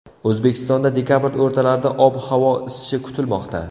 O‘zbekistonda dekabr o‘rtalarida ob-havo isishi kutilmoqda.